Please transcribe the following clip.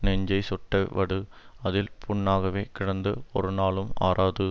நெஞ்சைச் சுட்ட வடு அதில் புண்ணாகவே கிடந்து ஒரு நாளும் ஆறாது